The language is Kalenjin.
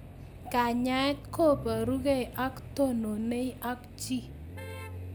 Kanyaet ko parukei ak tononei ak chii